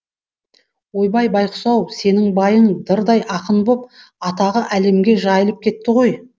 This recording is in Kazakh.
ойбай байғұс ау сенің байың дырдай ақын боп атағы әлемге жайылып кетті ғой